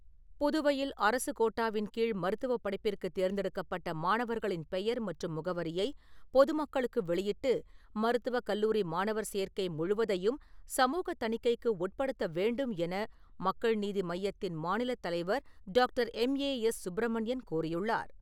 புதுவையில் அரசுக் கோட்டாவின் கீழ் மருத்துவப் படிப்பிற்கு தேர்ந்தெடுக்கப்பட்ட மாணவர்களின் பெயர் மற்றும் முகவரியை பொதுமக்களுக்கு வெளியிட்டு மருத்துவக் கல்லூரி மாணவர் சேர்க்கை முழுவதையும் சமூகத் தணிக்கைக்கு உட்படுத்த வேண்டும் என மக்கள் நீதி மய்யத்தின் மாநிலத் தலைவர் டாக்டர் எம்.ஏ.எஸ்.சுப்ரமணியன் கோரியுள்ளார்.